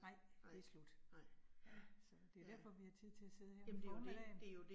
Nej, det slut. Ja, så det derfor vi har tid til at sidde her om formiddagen